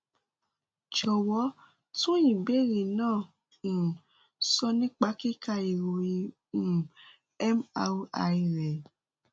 jọwọ tún ìbéèrè náà um sọ nípa kíka ìròyìn um mri rẹ